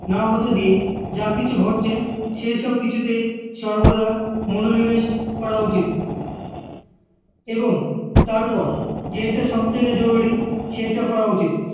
না হতে দিয়ে যা কিছু ঘটছে সেই সব কিছুতে সবর্দা মনোনিবেশ করা উচিত এবং তারপর যেইটা সব থেকে জরুরি সেইটা করা উচিত